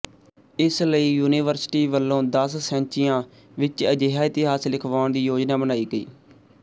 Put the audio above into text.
ਇਸ ਲਈ ਯੂਨੀਵਰਸਿਟੀ ਵੱਲੋਂ ਦਸ ਸੈਂਚੀਆਂ ਵਿੱਚ ਅਜਿਹਾ ਇਤਿਹਾਸ ਲਿਖਵਾਉਣ ਦੀ ਯੋਜਨਾ ਬਣਾਈ ਗਈ